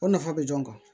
O nafa bɛ dɔn